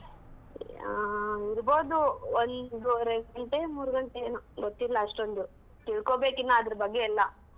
ಆಹ್ ಇರ್ಬಹುದು ಒಂದುವರೆ ಗಂಟೆ ಮೂರ್ ಗಂಟೆ ಏನೊ ಗೊತ್ತಿಲ್ಲಾ ಅಷ್ಟೊಂದು ತಿಳ್ಕೊಬೇಕ್ ಇನ್ನ ಅದರ್ ಬಗ್ಗೆ ಎಲ್ಲಾ.